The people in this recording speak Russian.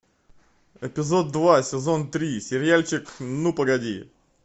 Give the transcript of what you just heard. эпизод два сезон три сериальчик ну погоди